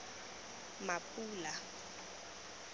mapula